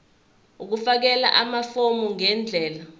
ukufakela amafomu ngendlela